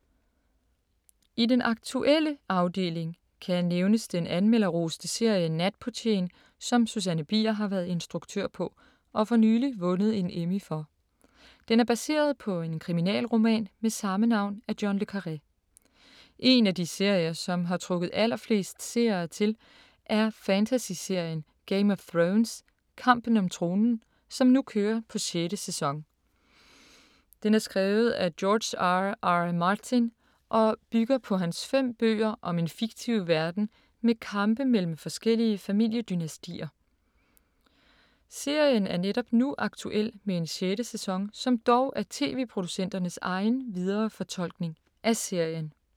I den aktuelle afdeling kan nævnes den anmelderroste serie Natportieren, som Susanne Bier har været instruktør på, og for nyligt vundet en Emmy for. Den er baseret på en kriminalroman med samme navn af John le Carré. En af de serier, som har trukket allerflest seere til, er fantasy-serien Game of Thrones (Kampen om tronen), som nu kører på 6. sæson. Den er skrevet af George R. R. Martin og bygger på hans fem bøger om en fiktiv verden med kampe mellem forskellige familiedynastier. Serien er netop nu aktuel med en sjette sæson, som dog er TV-producenternes egen viderefortolkning af serien.